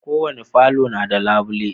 Ko wani falo na da labule.